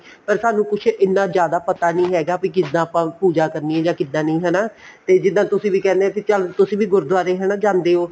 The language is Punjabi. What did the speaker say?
ਪਰ ਸਾਨੂੰ ਕੁੱਝ ਇੰਨਾ ਜਿਆਦਾ ਪਤਾ ਨੀ ਹੈਗਾ ਵੀ ਕਿੱਦਾਂ ਆਪਾਂ ਪੂਜਾ ਕਰਨੀ ਹੈ ਜਾਂ ਕਿੱਦਾਂ ਨਹੀਂ ਹਨਾ ਤੇ ਜਿੱਦਾਂ ਤੁਸੀਂ ਵੀ ਕਹਿਨੇ ਹੋ ਕੇ ਚੱਲ ਤੁਸੀਂ ਵੀ ਗੁਰਦੁਵਾਰੇ ਹਨਾ ਜਾਂਦੇ ਓ